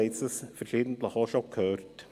Wir haben es schon verschiedentlich gehört: